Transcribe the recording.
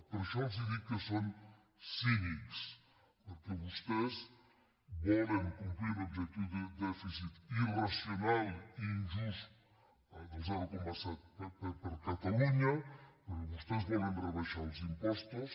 per això els dic que són cínics perquè vostès volen complir un objectiu de dèficit irracional i injust del zero coma set per a catalunya però vostès volen rebaixar els im·postos